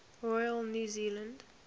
royal new zealand